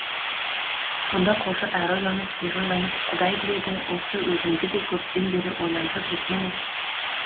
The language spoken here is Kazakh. сонда қожа әрі ойланып бері ойланып құдай біледі осы өзімді де көптен бері ойландырып жүрген іс